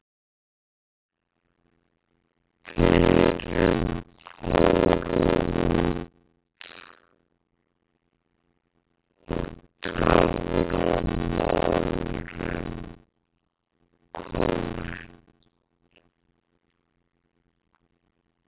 Dýrin fóru út og Töframaðurinn kom inn.